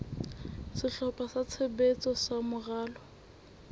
sehlopha sa tshebetso sa moralo